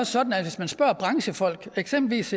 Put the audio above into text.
sådan at hvis man spørger branchefolk eksempelvis